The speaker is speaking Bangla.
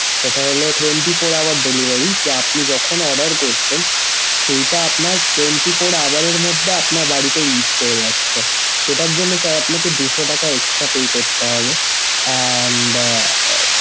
এটা হলো twenty four hour delivery তো আপনি যখন order করছেন সেইটা আপনার twenty four hour এর মধ্যে আপনার বাড়িতে reach করে যাচ্ছে। সেটার জন্যে sir আপনাকে দুশ টাকা extra pay করতে হবে । and